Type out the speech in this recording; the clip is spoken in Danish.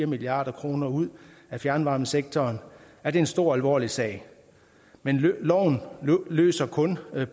milliard kroner ud af fjernvarmesektoren er det en stor og alvorlig sag men loven løser kun